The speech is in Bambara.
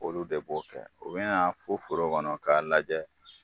Olu de b'o kɛ o be na fo foro kɔnɔ k'a lajɛ